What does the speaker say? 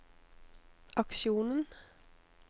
aksjonen